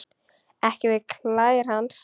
Ekki við klær hans.